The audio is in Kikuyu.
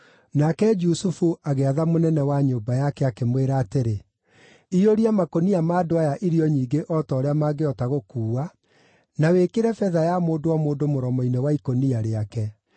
Nake Jusufu agĩatha mũnene wa nyũmba yake, akĩmwĩra atĩrĩ, “Iyũria makũnia ma andũ aya irio nyingĩ o ta ũrĩa mangĩhota gũkuua, na wĩkĩre betha ya mũndũ o mũndũ mũromo-inĩ wa ikũnia rĩake.